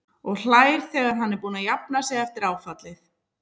Og hlær þegar hann er búinn að jafna sig eftir áfallið.